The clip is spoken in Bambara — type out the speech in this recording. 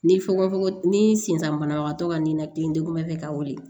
Ni fugofogon ni sisan banabagatɔ ka ninakilidegun bɛ ka wuli